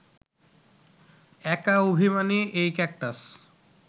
একা অভিমানী এই ক্যাকটাস